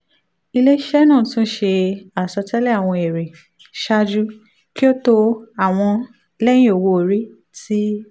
ile-iṣẹ naa tun ṣe asọtẹlẹ awọn ere ṣaaju ki o to ati lẹhin owo-ori ti